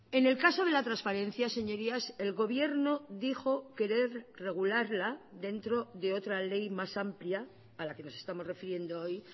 en el caso de la transparencia señorías el gobierno dijo querer regularla dentro de otra ley más amplia a la que nos estamos refiriendo hoy